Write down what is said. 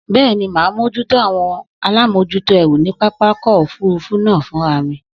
Bẹ́ẹ̀ni, mà á mójútó àwọn alámòjútó ẹrù ní pápákọ̀ òfurufú náà fúnra mi.